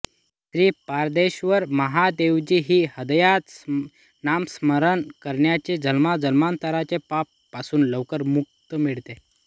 श्री पारदेश्वर महादेवजी चे ह्रदयात नामस्मरण करण्याने जन्मजन्मांतराचे पाप पासुन लवकर मुक्ती मिळते